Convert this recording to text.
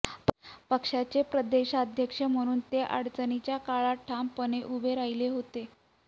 पक्षाचे प्रदेशाध्यक्ष म्हणून ते अडचणीच्या काळात ठामपणे उभे राहिले होते